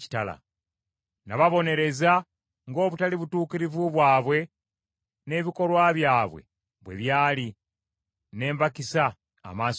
Nababonereza ng’obutali butuukirivu bwabwe n’ebikolwa byabwe bwe byali, ne mbakisa amaaso gange.